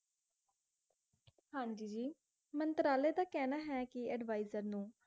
ਹਾਂਜੀ ਜੀ, ਮੰਤਰਾਲੇ ਦਾ ਕਹਿਣਾ ਹੈ ਕਿ advisor ਨੂੰ